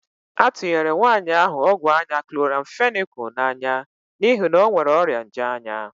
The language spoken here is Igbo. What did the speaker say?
A tunyere nwaanyị ahụ ọgwụ anya kloramfenịkal n'anya n'ihi na ọ nwere ọrịa nje anya.